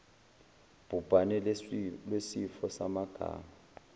bhubhane lwesifo samagama